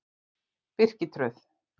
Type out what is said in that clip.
Birkitröð